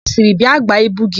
Ọ sịrị, "bịa gbaa ibu gị"!